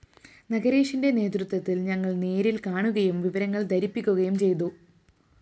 നഗരേഷിന്റെ നേതൃത്വത്തില്‍ ഞങ്ങള്‍ നേരില്‍ കാണുകയും വിവരങ്ങള്‍ ധരിപ്പിക്കുകയും ചെയ്തു